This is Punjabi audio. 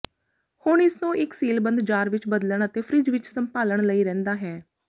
ਹੁਣ ਇਸ ਨੂੰ ਇੱਕ ਸੀਲਬੰਦ ਜਾਰ ਵਿੱਚ ਬਦਲਣ ਅਤੇ ਫਰਿੱਜ ਵਿੱਚ ਸੰਭਾਲਣ ਲਈ ਰਹਿੰਦਾ ਹੈ